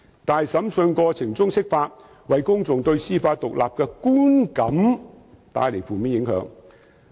但是，在審訊過程中釋法，為公眾對司法獨立的觀感帶來負面影響。